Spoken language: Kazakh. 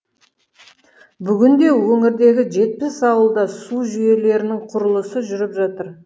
бүгінде өңірдегі жетпіс ауылда су жүйелерінің құрылысы жүріп жатыр